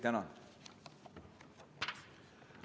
Tänan!